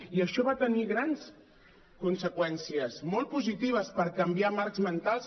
i això va tenir grans conseqüències molt positives per canviar marcs mentals